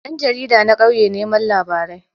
Ɗan jarida na ƙauye neman labarai